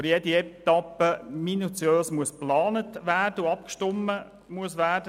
Für jede Etappe müsse minutiös geplant und abgestimmt werden.